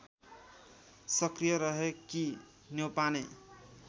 सक्रिय रहेकी न्यौपाने